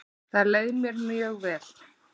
Þar leið mér mjög vel.